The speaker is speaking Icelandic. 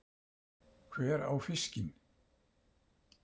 Hver á fiskinn?